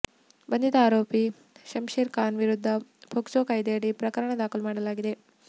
ಬಂಧಿತ ಆರೋಪಿ ಶಂಷೇರ್ ಖಾನ್ ವಿರುದ್ಧ ಫೋಕ್ಸೊ ಕಾಯ್ದೆಯಡಿ ಪ್ರಕರಣ ದಾಖಲು ಮಾಡಲಾಗಿದೆ